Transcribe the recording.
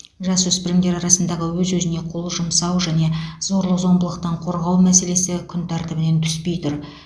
жасөспірімдер арасындағы өз өзіне қол жұмсау және зорлық зомбылықтан қорғау мәселесі күн тәртібінен түспей тұр